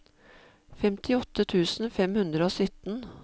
femtiåtte tusen fem hundre og sytten